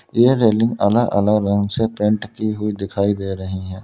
यह रेलिंग अलग अलग रंग से पेंट की हुई दिखाई दे रही हैं।